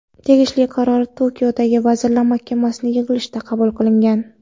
Tegishli qaror Tokioda vazirlar mahkamasining yig‘ilishida qabul qilingan.